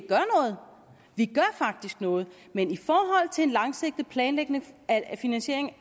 gør faktisk noget men i forhold til en langsigtet planlægning af finansieringen